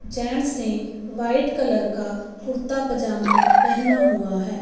James ने white colour का कुर्ता पजामा पेहना हुआ है।